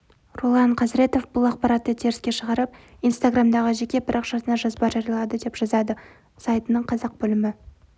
ролан қазіретов бұл ақпаратты теріске шығарып инстаграмдағы жеке парақшасына жазба жариялады деп жазады сайтының қазақ бөлімі